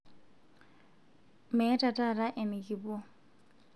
meeta taata enikipuo